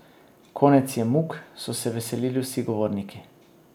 Konec je muk, so se veselili vsi govorniki.